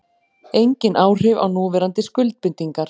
Engin áhrif á núverandi skuldbindingar